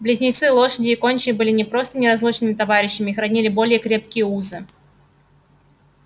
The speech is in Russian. близнецы лошади и гончие были не просто неразлучными товарищами их роднили более крепкие узы